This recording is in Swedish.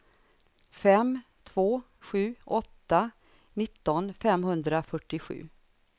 fem två sju åtta nitton femhundrafyrtiosju